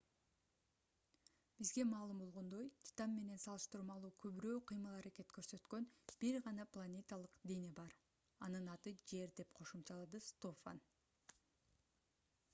бизге маалым болгондой титан менен салыштырмалуу көбүрөөк кыймыл-аракет көрсөткөн бир гана планеталык дене бар анын аты жер - деп кошумчалады стофан